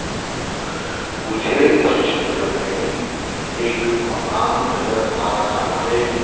मुझे इस चित्र में एक मकान नजर आ रहा है।